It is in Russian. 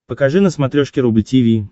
покажи на смотрешке рубль ти ви